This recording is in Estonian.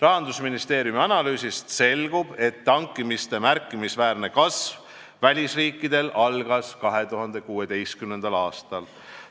Rahandusministeeriumi analüüsist selgub, et välisriikides tankimiste märkimisväärne kasv algas 2016. aastal.